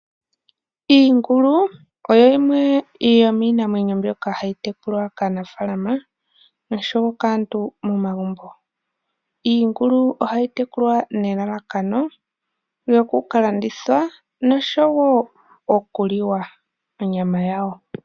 Iingulu oyo yimwe yomiinamwenyo mbyoka hayi tekulwa kaanafaalama noshowo kaantu momagumbo. Iingulu ohayi tekulwa nelelekano lyoku ka landithwa noshowo okuliwa onyama yawo.